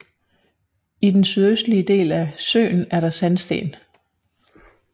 I den sydøstlige del af søen er der sandsten